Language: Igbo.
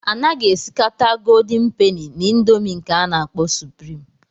A naghị esikata Goldin peni na ịndomii nke a na-akpọ suprịm.